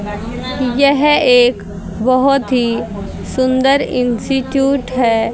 यह एक बहोत ही सुंदर इंस्टिट्यूट है।